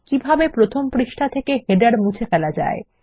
কিভাবে প্রথম পৃষ্ঠা থেকে শিরোলেখ মুছে ফেলা যায়